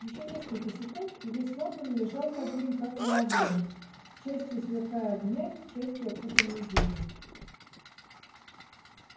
ещё несколько секунд и весь лондон лежал под ним как на ладони частью сверкая огнями частью окутанный дымом